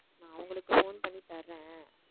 நான் அவங்களுக்கு phone பண்ணி தர்றேன்